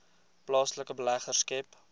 plaaslike beleggers skep